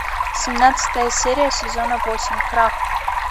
семнадцатая серия сезона восемь крах